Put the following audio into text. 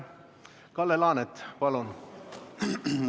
Kalle Laanet, palun!